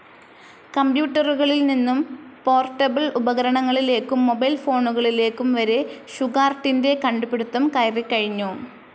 കമ്പ്യൂട്ടറുകളിൽ നിന്നും പോർട്ടബിൾ ഉപകരണങ്ങളിലേക്കും മൊബൈൽ ഫോണുകളിലേക്കും വരെ ഷുഗാർട്ടിൻറെ കണ്ടുപിടിത്തം കയറികഴിഞ്ഞു.